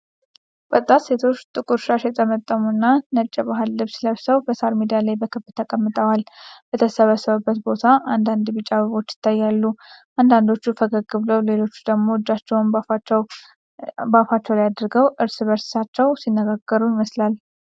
ወጣት ሴቶች ጥቁር ሻሽ የጠመጠሙና ነጭ የባህል ልብስ ለብሰው በሳር ሜዳ ላይ በክብ ተቀምጠዋል። በተሰበሰቡበት ቦታ አንዳንድ ቢጫ አበቦች ይታያሉ። አንዳንዶቹ ፈገግ ብለው፣ ሌሎቹ ደግሞ እጃቸውን በአፋቸው ላይ አድርገው እርስ በርሳቸው ሲነጋገሩ ይመስላል።